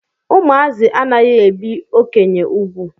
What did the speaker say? Ụmụazị anaghị ebi okenye úgwù.